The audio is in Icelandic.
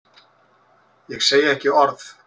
Ég segi ekki orð.